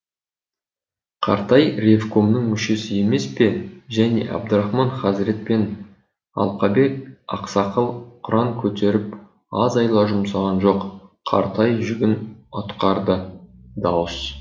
қартай ревкомның мүшесі емес пе және әбдірахман хазірет пен алқабек ақсақал құран көтеріп аз айла жұмсаған жоқ қартай жүгін атқарды дауыс